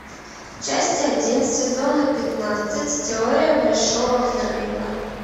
часть один сезона пятнадцать теория большого взрыва